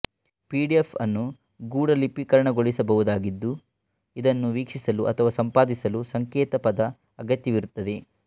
PDF ಅನ್ನು ಗೂಢಲಿಪಿಕರಣಗೊಳಿಸಬಹುದಾಗಿದ್ದು ಇದನ್ನು ವೀಕ್ಷಿಸಲು ಅಥವಾ ಸಂಪಾದಿಸಲು ಸಂಕೇತಪದ ಅಗತ್ಯವಿರುತ್ತದೆ